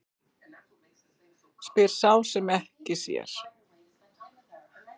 Spyr sá er ekki sér.